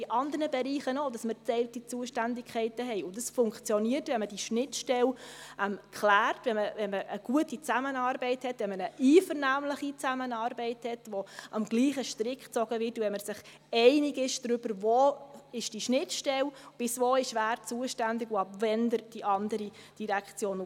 In anderen Bereichen haben wir auch geteilte Zuständigkeiten, und das funktioniert, wenn man die Schnittstelle klärt, wenn man eine gute Zusammenarbeit hat, wenn man eine einvernehmliche Zusammenarbeit hat, wo am selben Strick gezogen wird, wenn man sich darin einig ist, wo die Schnittstelle liegt, wer bis wohin zuständig ist und ab wann die andere Direktion.